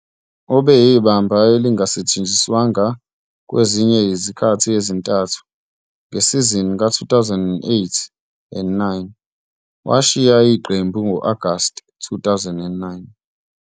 Ubeyibamba elingasetshenziswanga kwezinye izikhathi ezintathu ngesizini ka-2008-09 washiya iqembu ngo-Agasti 2009.